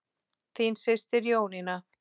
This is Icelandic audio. Þín systir Jónína.